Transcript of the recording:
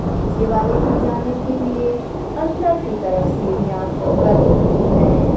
नीचे वाले पे जाने के लिए अंदर की तरफ सीढ़ियां बनी हुई हैं।